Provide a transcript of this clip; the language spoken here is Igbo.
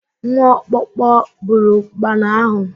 Nwa okpoko buru ụkpana ahụ